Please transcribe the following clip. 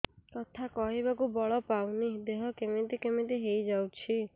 କଥା କହିବାକୁ ବଳ ପାଉନି ଦେହ କେମିତି କେମିତି ହେଇଯାଉଛି